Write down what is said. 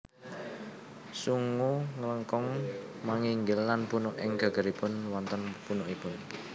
Sungu nglengkung manginggil lan punuk ing gegeripun wonten punukipun